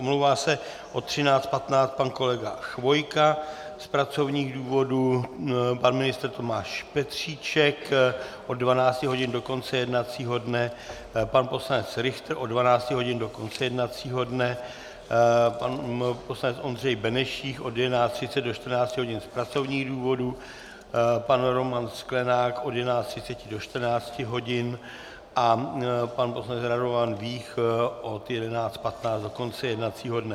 Omlouvá se od 13.15 pan kolega Chvojka z pracovních důvodů, pan ministr Tomáš Petříček od 12 hodin do konce jednacího dne, pan poslanec Richter od 12 hodin do konce jednacího dne, pan poslanec Ondřej Benešík od 11.30 do 14 hodin z pracovních důvodů, pan Roman Sklenák od 11.30 do 14 hodin a pan poslanec Radovan Vích od 11.15 do konce jednacího dne.